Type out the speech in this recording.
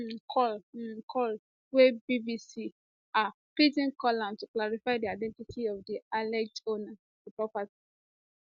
im call im call wen bbc um pidgin call am to clarify di identity of di alleged owner of di property